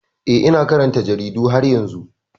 Eh, ina karanta jaridu har yanzu.